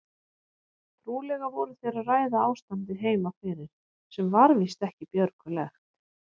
Trúlega voru þeir að ræða ástandið heima fyrir sem var víst ekki björgulegt.